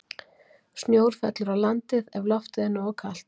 Snjór fellur á landið ef loftið er nógu kalt.